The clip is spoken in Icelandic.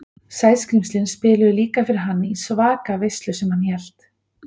Sæskrímslin spiluðu líka fyrir hann í svaka veislu sem hann hélt.